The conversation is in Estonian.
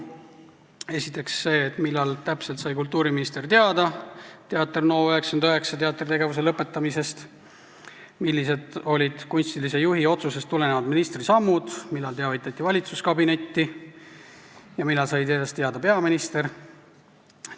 Esiteks, millal täpselt sai kultuuriminister teada Teater NO99 teatritegevuse lõpetamisest, millised olid kunstilise juhi otsusest tulenevad ministri sammud, millal teavitati valitsuskabinetti ja millal sai sellest teada peaminister?